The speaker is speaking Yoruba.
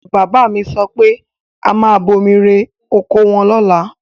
Bàbá mi sọ pé a máa bomi rẹ oko wọn lọ́la.